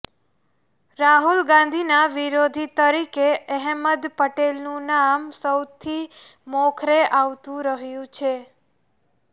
રાહુલ ગાંધીના વિરોધી તરીકે અહેમદ પટેલનું નામ સૌથી મોખરે આવતું રહ્યું છે